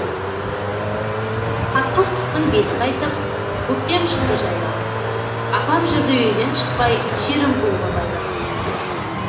қатқыл қыстың беті қайтып көктем шықты жайланып апам жүрді үйден шықпай шерімқұлға байланып